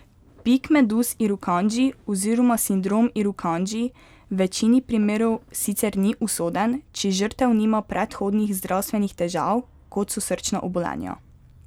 Pik meduz irukandji oziroma sindrom irukandji v večini primerov sicer ni usoden, če žrtev nima predhodnih zdravstvenih težav, kot so srčna obolenja.